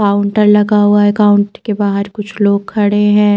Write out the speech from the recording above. Counter लगा हुआ है काउन्ट के बाहर कुछ लोग खड़े है।